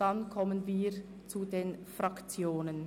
Danach kommen wir zu den Fraktionen.